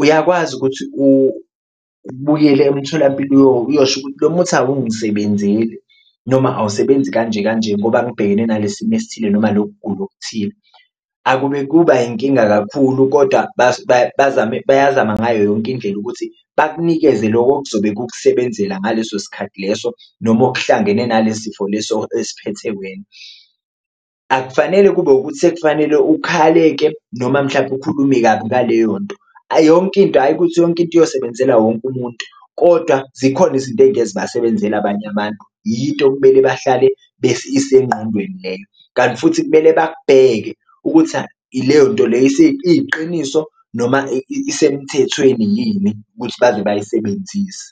uyakwazi ukuthi ubuyele emtholampilo uyosho ukuthi lo muthi awungisebenzeli noma awusebenzi kanje kanje ngoba ngibhekene nale simo esithile noma lokugula okuthile. Akube kuba inkinga kakhulu koda bazame bayazama ngayo yonke indlela ukuthi bakunikeze loko okuzobe kukusebenzela ngaleso sikhathi leso noma okuhlangene nale sifo leso esiphethe wena. Akufanele kube ukuthi ekufanele ukhale-ke noma mhlampe ukhulume kabi ngaleyo nto, yonke into ayi ukuthi yonke into iyosebenzela wonke umuntu, kodwa zikhona izinto ezingeke zibasebenzele abanye abantu yinto okumele bahlale isengqondweni leyo. Kanti futhi kumele bakukheke ukuthi ileyo nto leyo iyiqiniso noma isemthethweni yini ukuthi baze bayisebenzise.